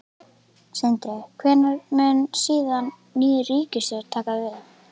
Sindri: Hvenær mun síðan ný ríkisstjórn taka við?